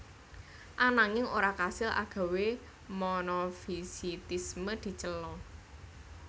Ananging ora kasil agawé monofisitisme dicela